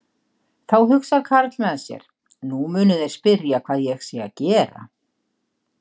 Þá hugsar karl með sér: Nú munu þeir spyrja hvað ég sé að gera.